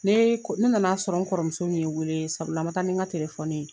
Ne ne nana sɔrɔ n kɔrɔmuso ye n wele sabula n ma taa ni n ka telefɔni ye